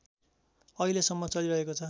अहिलेसम्म चलिरहेको छ